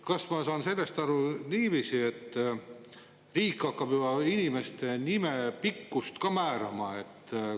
Kas ma saan õigesti aru, et riik hakkab juba inimese nime pikkust ka määrama?